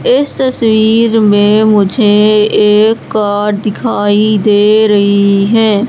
इस तस्वीर में मुझे एक कार दिखाई दे रही है।